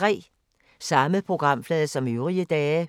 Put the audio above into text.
Samme programflade som øvrige dage